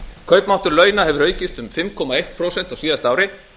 kaupmáttur launa hefur aukist um fimm komma eitt prósent á síðasta ári